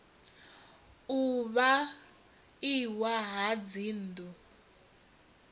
u fha iwa ha dzinnḓu